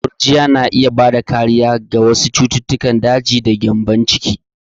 Gurjiya na iya bada kariya daga wasu cututtukan daji da gyambon ciki.